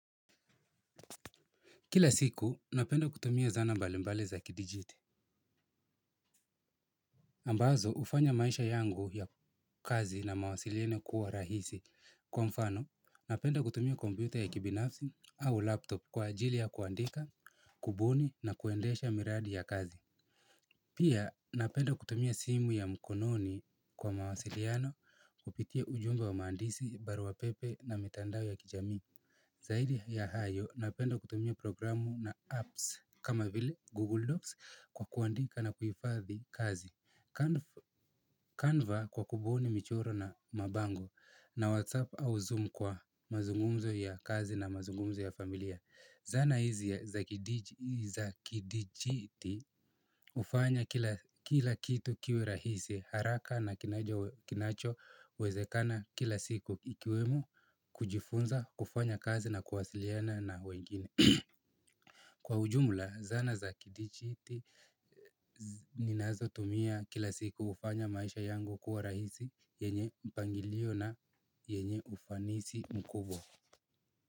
Kila siku, napenda kutumia zana mbalimbali za kidijitali. Ambazo, hufanya maisha yangu ya kazi na mawasiliano kuwa rahisi. Kwa mfano, napenda kutumia komputer ya kibinafsi au laptop kwa ajili ya kuandika, kubuni na kuendesha miradi ya kazi. Pia, napenda kutumia simu ya mkononi kwa mawasiliano kupitia ujumbe wa maandisi, baruapepe na mitandao ya kijami. Zaidi ya hayo, napenda kutumia programu na apps kama vile Google Docs kwa kuandika na kuhifadhi kazi. Canva kwa kubuni michoro na mabango na WhatsApp au Zoom kwa mazungumzo ya kazi na mazungumzo ya familia. Zana hizi za kidijiti hufanya kila kitu kiwe rahisi haraka na kinacho wezekana kila siku ikiwemo kujifunza, kufanya kazi na kuwasiliana na wengine. Kwa ujumula, zana za kidijiti ninazo tumia kila siku hufanya maisha yangu kuwa rahisi yenye mpangilio na yenye ufanisi mkubwa.